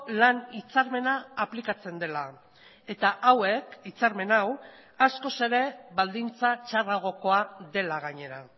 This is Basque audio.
lan hitzarmena aplikatzen dela eta hauek hitzarmen hau askoz ere baldintza txarragokoa dela gainera